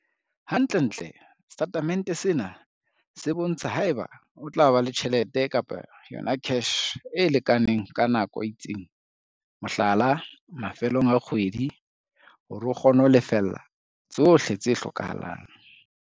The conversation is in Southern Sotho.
Hantlentle setatemente sena se bontsha haeba o tla ba le tjhelete, cash, e lekaneng ka nako e itseng, mohlala, mafelong a kgwedi, hore o kgone ho lefella tsohle tse hlokahalang.